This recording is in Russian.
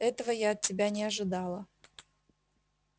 этого я от тебя не ожидала